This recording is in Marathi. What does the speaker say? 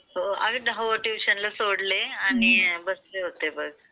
हो धाउ ला ट्युशनला सोडले आणि बसले होते बस.